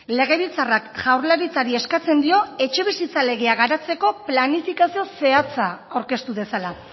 legebiltzarrak jaurlaritzari eskatzen dio etxebizitza legea garatzeko planifikazio zehatza aurkeztu dezala